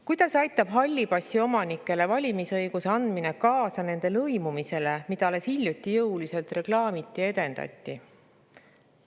Kuidas aitab halli passi omanikele valimisõiguse andmine kaasa nende lõimumisele, mida alles hiljuti jõuliselt reklaamiti ja edendati?